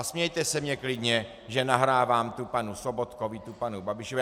A smějte se mně klidně, že nahrávám tu panu Sobotkovi, tu panu Babišovi.